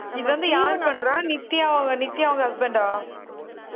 இது வந்து யாரு பண்றா நித்யா அவங்க நித்யா அவங்க husband ஆ